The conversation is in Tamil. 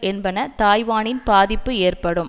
என்பன தாய்வானின் பாதிப்பு ஏற்படும்